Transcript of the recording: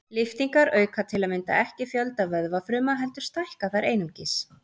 Lyftingar auka til að mynda ekki fjölda vöðvafruma heldur stækka þær einungis.